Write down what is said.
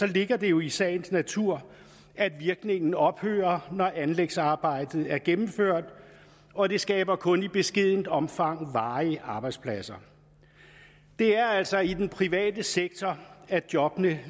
ligger det jo i sagens natur at virkningen ophører når anlægsarbejdet er gennemført og det skaber kun i beskedent omfang varige arbejdspladser det er altså i den private sektor jobbene